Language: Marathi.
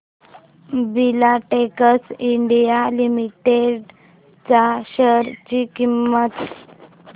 फिलाटेक्स इंडिया लिमिटेड च्या शेअर ची किंमत